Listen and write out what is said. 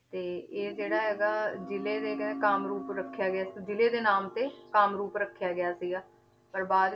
ਤੇ ਇਹ ਜਿਹੜਾ ਇਹਦਾ ਜ਼ਿਲ੍ਹੇ ਦੇ ਕਹਿੰਦੇ ਕਾਮਰੂਪ ਰੱਖਿਆ ਗਿਆ ਸੀ, ਜ਼ਿਲ੍ਹੇ ਦੇ ਨਾਮ ਤੇ ਕਾਮਰੂਪ ਰੱਖਿਆ ਗਿਆ ਸੀਗਾ, ਪਰ ਬਾਅਦ